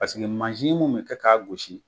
Paseke mansi mun bɛ kɛ k'a gosi